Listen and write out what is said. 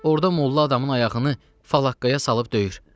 Orda molla adamın ayağını falaqqaya salıb döyür.